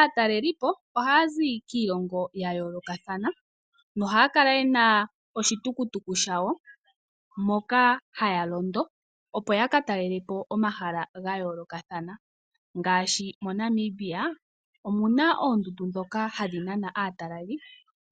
Aatalelipo ohaya zi kiilongo ya yoolokathana, nohaya kala ye na oshitukutuku shawo moka haya londo opo ya ka talele po omahala ga yoolokathana. Ngaashi moNamibia omu na oondundu ndhoka hadhi nana aataleli,